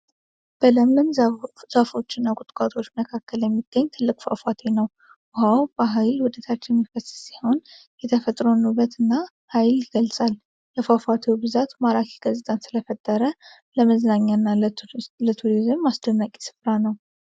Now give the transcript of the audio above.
በለምለም ዛፎች እና ቁጥቋጦዎች መካከል የሚገኝ ትልቅ ፏፏቴ ነው። ውሃው በኃይል ወደታች የሚፈስ ሲሆን፣ የተፈጥሮን ውበት እና ኃይል ይገልጻል። የፏፏቴው ብዛት ማራኪ ገጽታን ስለፈጠረ ለመዝናኛ እና ለቱሪዝም አስደናቂ ስፍራ ነው።